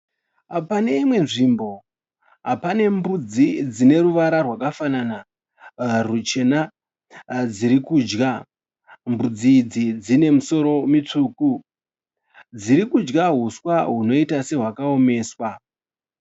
Pane imwe nzvimbo pane mbudzi dzine ruvara rwakafanana ruchena dzirikudya. Mbudzi idzi dzine misoro mitsvuku, dzirikudya huswa hunoita sehwakaomeswa.